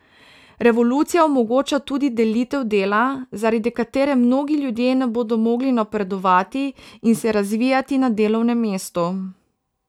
Revolucija omogoča tudi delitev dela, zaradi katere mnogi ljudje ne bodo mogli napredovati in se razvijati na delovnem mestu.